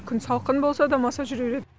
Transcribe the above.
күн салқын болса да маса жүре береді